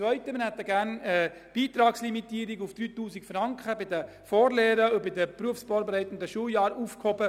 Zweitens hätten wir gerne eine Beitragslimitierung auf 3000 Franken bei den Vorlehren und bei den berufsvorbereitenden Schuljahren aufgehoben.